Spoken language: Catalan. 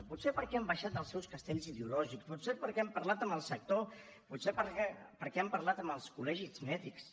potser perquè han baixat dels seus castells ideològics potser perquè han parlat amb el sector potser perquè han parlat amb els col·legis mèdics